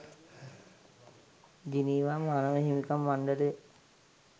Geneva මානව හිමිකම් මණ්ඩලය